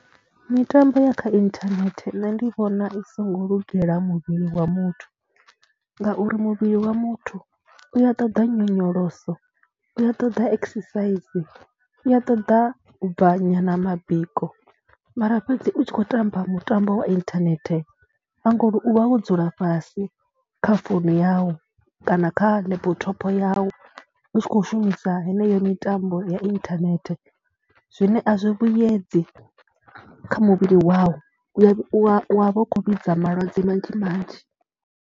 Mitambo ya kha inthanete nṋe ndi vhona i songo lugela muvhili wa muthu ngauri muvhili wa muthu u ya ṱoḓa nyonyoloso, u ṱoḓa exercise, u ṱoḓa u bva nyana mabiko mara fhedzi u tshi khou tamba mutambo wa inthanethe na nga uri u vha wo dzula fhasi kha founu yau kana kha laptop yau u tshi kho shumisa heneyo mitambo ya inthanethe zwine a zwi vhuyedzi kha muvhili wau. U wa vha u khou vhidza malwadze manzhi manzhi.